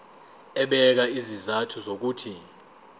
ebeka izizathu zokuthi